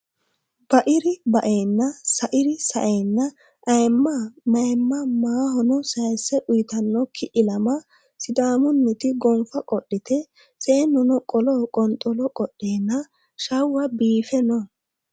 Bairi baenna sairi saenna ayimma mayimma maahono sayise uyittanokki ilama sidaamuniti gonfa godhite seenuno qolo qonxolo qodhenna shawa biife no.